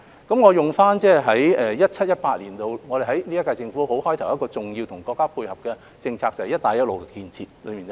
我會以 2017-2018 年度現屆政府開始時配合國家的一項重要政策為例，就是"一帶一路"建設。